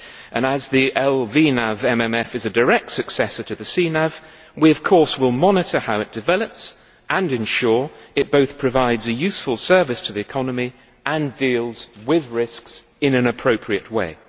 And as the LVNAV MMF is a direct successor to the CNAV, we will of course monitor how it develops and ensure it both provides a useful service to the economy and deals with risks in an appropriate way.